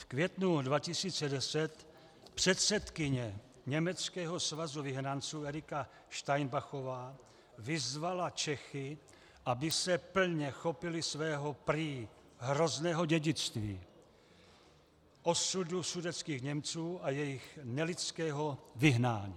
V květnu 2010 předsedkyně německého Svazu vyhnanců Erika Steinbachová vyzvala Čechy, aby se plně chopili svého prý hrozného dědictví, osudu sudetských Němců a jejich nelidského vyhnání.